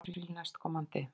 Apríl næstkomandi.